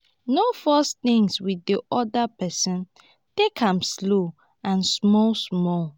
no force things with di oda person take am slow and small small